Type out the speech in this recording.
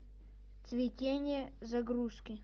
цветение загрузки